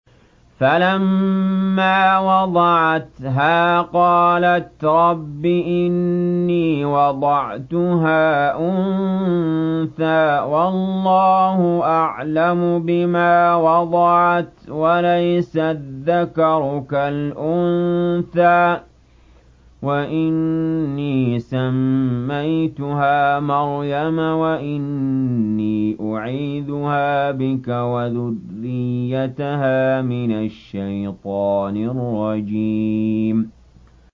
فَلَمَّا وَضَعَتْهَا قَالَتْ رَبِّ إِنِّي وَضَعْتُهَا أُنثَىٰ وَاللَّهُ أَعْلَمُ بِمَا وَضَعَتْ وَلَيْسَ الذَّكَرُ كَالْأُنثَىٰ ۖ وَإِنِّي سَمَّيْتُهَا مَرْيَمَ وَإِنِّي أُعِيذُهَا بِكَ وَذُرِّيَّتَهَا مِنَ الشَّيْطَانِ الرَّجِيمِ